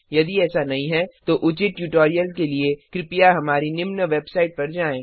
यदि ऐसा नहीं है तो उचित ट्यूटोरियल के लिए कृपया हमारी निम्न वेबसाईट पर जाएँ